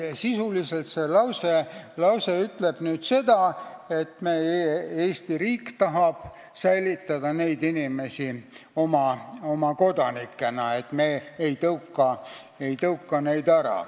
Sisuliselt ütleb see lause seda, et Eesti riik tahab neid inimesi oma kodanikena säilitada, me ei tõuka neid ära.